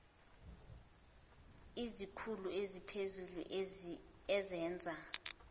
izikhulu eziphezulu ezenza